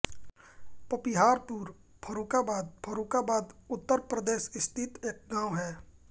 पपिहापुर फर्रुखाबाद फर्रुखाबाद उत्तर प्रदेश स्थित एक गाँव है